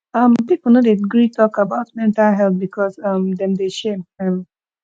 um pipo no dey gree tok about mental health because um dem dey shame um